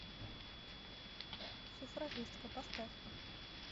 суфражистка поставь